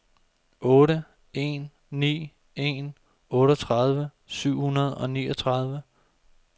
otte en ni en otteogtredive syv hundrede og niogtredive